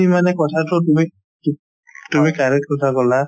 actually মানে কথাতো তুমি তুমি correct কথা ক'লা